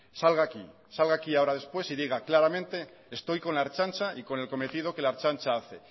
salga aquí salga aquí ahora después y diga claramente estoy con la ertzaintza y con el cometido que la ertzaintza hace